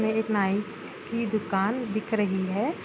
ये एक नाई की दुकान दिख रही है।